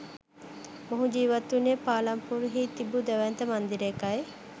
මොහු ජීවත් වුණේ පාලම්පූර් හි තිබූ දැවැන්ත මන්දිරයකයි.